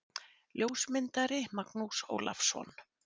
Ljósmyndari: Magnús Ólafsson.